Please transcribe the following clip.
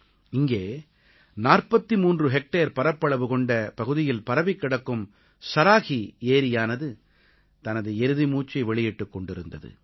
இங்கே 43 ஹெக்டேர் பரப்பளவு கொண்ட பகுதியில் பரவிக் கிடக்கும் ஸராஹீ ஏரியானது தனது இறுதி மூச்சை வெளியிட்டுக் கொண்டிருந்தது